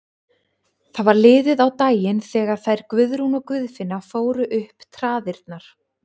Það var liðið á daginn þegar þær Guðrún og Guðfinna fóru upp traðirnar.